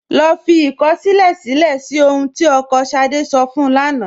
Lọ́ fí ikọ̀ṣílẹ̀ silẹ̀ ní ọ̀hun tí ọkọ́ Ṣádé sọ̀ fún ún lána.